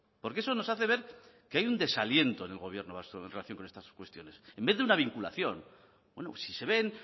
porque eso nos hace ver que hay un desaliento en el gobierno vasco en relación con estas cuestiones en vez de una vinculación si se ven